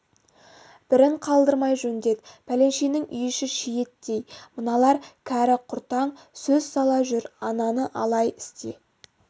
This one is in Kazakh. бірін қалдырмай жөндет пәленшенің үй-іші шиеттей мыналар кәрі құртаң көз сала жүр ананы алай істе